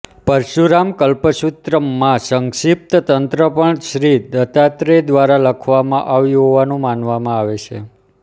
પરશુરામકલ્પસૂત્રમ માં સંક્ષિપ્ત તંત્ર પણ શ્રી દત્તાત્રેય દ્વારા લખવામાં આવ્યું હોવાનું માનવામાં આવે છે